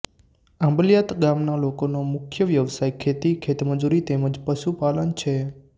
આંબલિયાત ગામના લોકોનો મુખ્ય વ્યવસાય ખેતી ખેતમજૂરી તેમ જ પશુપાલન છે